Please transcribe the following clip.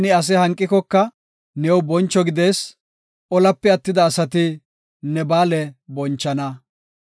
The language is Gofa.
Ne ase hanqikoka new boncho gidees; Olape attida asati ne ba7aale bonchana.